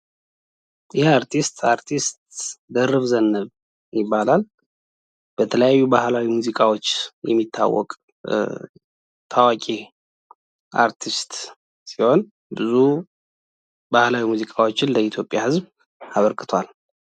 አርቲስት አርቲስት ደርብ ዘነበ ይባላል በተለያዩ ባህላዊ ሙዚቃዎች የሚታወቀ ሙዚቃዎችን ለኢትዮጵያ ህዝብ አበርክቷል